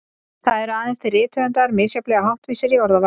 Það eru aðeins til rithöfundar misjafnlega háttvísir í orðavali.